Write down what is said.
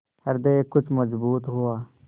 हृदय कुछ मजबूत हुआ